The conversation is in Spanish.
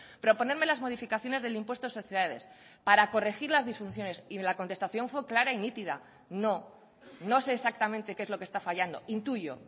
proponerme las modificaciones del impuesto de sociedades para corregir las disfunciones y la contestación fue clara y nítida no no sé exactamente qué es lo que está fallando intuyo